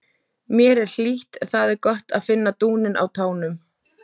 Mér er hlýtt, það er gott að finna dúninn á tánum.